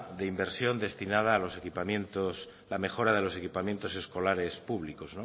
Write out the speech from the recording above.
de inversión destinada a los equipamientos la mejora de los equipamientos escolares públicos